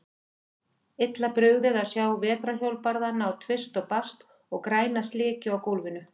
Illa brugðið að sjá vetrarhjólbarðana á tvist og bast og græna slikju á gólfinu.